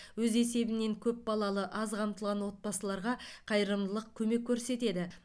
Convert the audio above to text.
өз есебінен көп балалы аз қамтылған отбасыларға қайырымдылық көмек көрсетеді